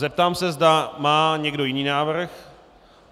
Zeptám se, zda má někdo jiný návrh.